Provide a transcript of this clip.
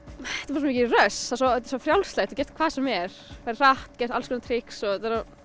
bara svo mikið rush þetta er svo frjálslegt þú getur gert hvað sem er ferð hratt gert alls konar trix og þetta er